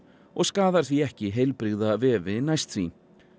og skaðar því ekki heilbrigða vefi næst því